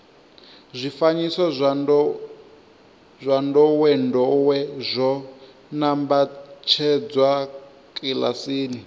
zwifanyiso zwa ndowendowe zwo nambatsedzwa kilasini